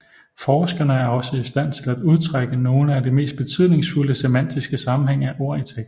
Forskerne er også i stand til at udtrække nogle af de mest betydningsfulde semantiske sammenhæng af ord i teksten